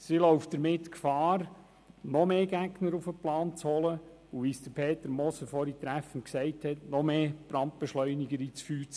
Sie läuft somit Gefahr, noch mehr Gegner auf den Plan zu rufen und noch mehr Brandbeschleuniger ins Feuer zu giessen, wie es Peter Moser vorhin treffend gesagt hat.